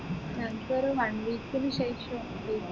നക്കൊരു one week നു ശേഷം